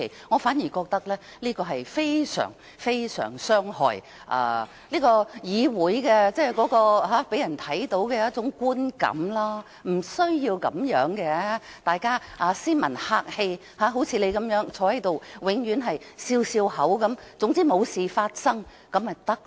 我反而覺得這是非常非常傷害議會予人的觀感，並不需要這樣，大家斯文客氣，好像代理主席永遠微笑坐着，總之沒有事情發生便行。